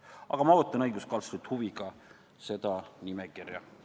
Aga ma ootan õiguskantslerilt huviga seda nimekirja.